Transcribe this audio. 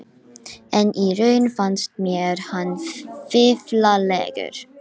En í raun fannst mér hann fíflalegur.